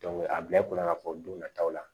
a bila i kunna k'a fɔ don nataw la